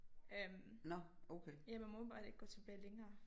Øh ja man må åbenbart ikke gå tilbage længere